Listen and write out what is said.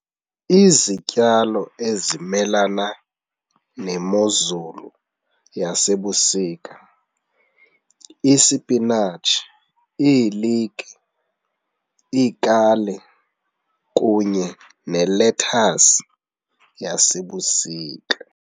Izityalo ezimelana nemozulu yasebusika isipinatshi, iiliki, iikale kunye nelethasi yasebusika.